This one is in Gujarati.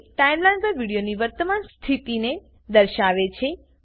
તે ટાઈમલાઈન પર વિડીયોની વર્તમાન સ્થિતિને દર્શાવે છે